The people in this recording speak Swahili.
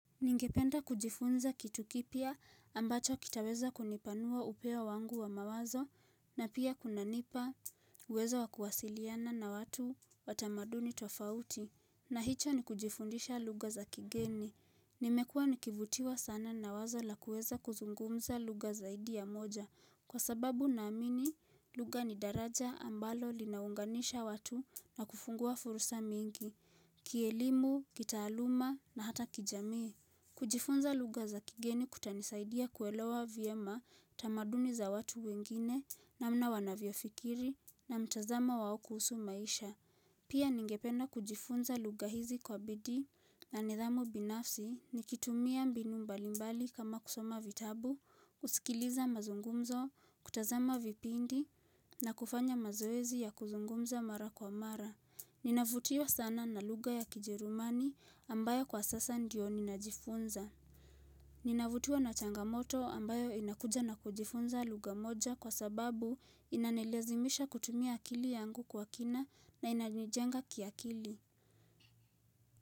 Ningependa kujifunza kitu kipya ambacho kitaweza kunipanua upeo wangu wa mawazo na pia kunanipa uwezo wa kuwasiliana na watu wa tamaduni tofauti. Na hicho ni kujifundisha lugha za kigeni. Nimekua nikivutiwa sana na wazo la kuweza kuzungumza lugha zaidi ya moja. Kwa sababu naamini lugha ni daraja ambalo linaunganisha watu na kufungua fursa mingi. Kielimu, kitaaluma na hata kijamii. Kujifunza lugha za kigeni kutanisaidia kuelewa vyema tamaduni za watu wengine namna wanavyofikiri na mtazamo wao kuhusu maisha. Pia ningependa kujifunza lugha hizi kwa bidii na nidhamu binafsi nikitumia mbinu mbalimbali kama kusoma vitabu, kusikiliza mazungumzo, kutazama vipindi na kufanya mazoezi ya kuzungumza mara kwa mara. Ninavutiwa sana na lugha ya kijerumani ambayo kwa sasa ndio ninajifunza Ninavutiwa na changamoto ambayo inakuja na kujifunza lugha moja kwa sababu inanilazimisha kutumia akili yangu kwa kina na inanijenga kiakili.